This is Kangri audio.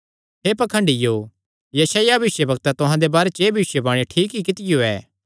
हे पाखंडियों यशायाह भविष्यवक्तैं तुहां दे बारे च एह़ भविष्यवाणी ठीक ई कित्तियो ऐ